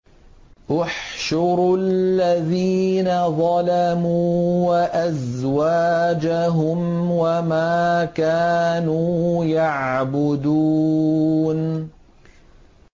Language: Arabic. ۞ احْشُرُوا الَّذِينَ ظَلَمُوا وَأَزْوَاجَهُمْ وَمَا كَانُوا يَعْبُدُونَ